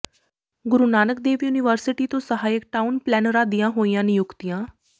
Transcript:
ਗੁਰੂ Nanak Dev university ਤੋਂ ਸਹਾਇਕ town ਪਲੈਨਰਾਂ ਦੀਆਂ ਹੋਈਆਂ ਨਿਯੁੱਕਤੀਆਂ